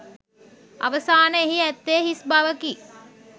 අවසාන එහි ඇත්තේ හිස් බවකි.